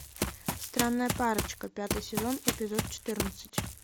странная парочка пятый сезон эпизод четырнадцать